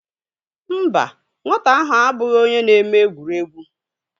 mba, nwata ahụ abụghị onye na-eme egwuregwu